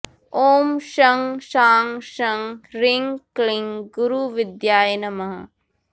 ॐ शं शां षं ह्रीं क्लीं गुरुविद्याय नमः